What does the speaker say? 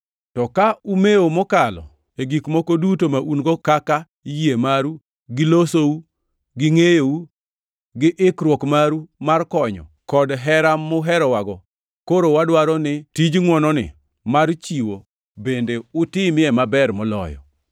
To ka umewo mokalo e gik moko duto ma un-go, kaka: yie maru, gi losou, gi ngʼeyou, gi ikruok maru mar konyo, kod hera muherowago; koro wadwaro ni tij ngʼwononi mar chiwo bende utimie maber moloyo.